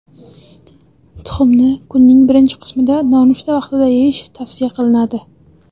Tuxumni kunning birinchi qismida nonushta vaqtida yeyish tavsiya qilinadi.